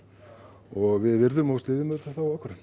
og við virðum og styðjum auðvitað þá ákvörðun